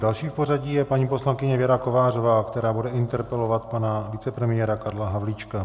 Další v pořadí je paní poslankyně Věra Kovářová, která bude interpelovat pana vicepremiéra Karla Havlíčka.